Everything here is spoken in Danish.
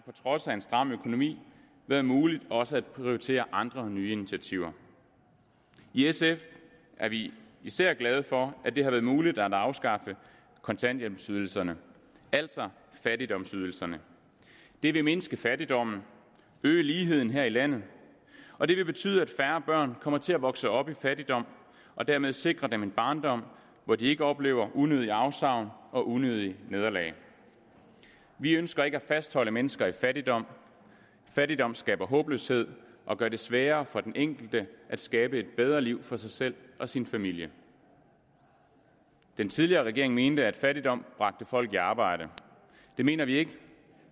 trods af en stram økonomi været muligt også at prioritere andre nye initiativer i sf er vi især glade for at det har været muligt at afskaffe kontanthjælpsydelserne altså fattigdomsydelserne det vil mindske fattigdommen og øge ligheden her i landet og det vil betyde at færre børn kommer til at vokse op i fattigdom og dermed sikre dem en barndom hvor de ikke oplever unødige afsavn og unødige nederlag vi ønsker ikke at fastholde mennesker i fattigdom fattigdom skaber håbløshed og gør det sværere for den enkelte at skabe et bedre liv for sig selv og sin familie den tidligere regering mente at fattigdom bragte folk i arbejde det mener vi ikke